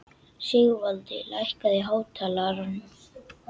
Sigvaldi, lækkaðu í hátalaranum.